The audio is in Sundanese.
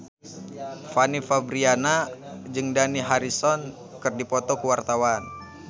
Fanny Fabriana jeung Dani Harrison keur dipoto ku wartawan